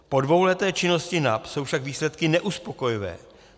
Po dvouleté činnosti NAP jsou však výsledky neuspokojivé.